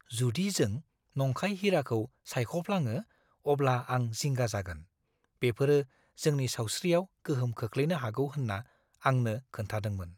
जुदि जों नंखाय हिराखौ सायख'फ्लाङो अब्ला आं जिंगा जागोन। बेफोरो जोंनि सावस्रियाव गोहोम खोख्लैनो हागौ होन्ना आंनो खोन्थादोंमोन।